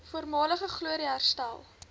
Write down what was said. voormalige glorie herstel